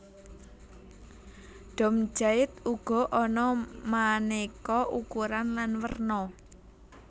Dom jait uga ana manéka ukuran lan werna